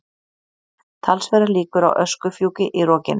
Talsverðar líkur á öskufjúki í rokinu